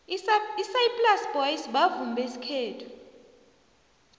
isaplasi boys bavumi besikhethu